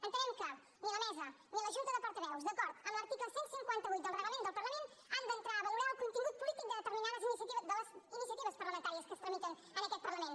entenem que ni la mesa ni la junta de portaveus d’acord amb l’article cent i cinquanta vuit del reglament del parlament han d’entrar a valorar el contingut polític de les iniciatives parlamentàries que es tramiten en aquest parlament